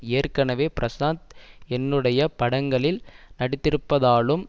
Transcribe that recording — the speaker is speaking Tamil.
ஏற்கனவே பிரஷாந்த் என்னுடைய படங்களில் நடித்திருப்பதாலும்